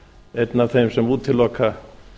einn af þeim sem útiloka